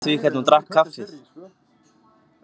Gleyma því hvernig hún drakk kaffið.